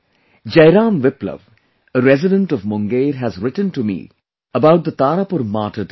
Jai Ram Viplava, a resident of Munger has written to me about the Tarapur Martyr day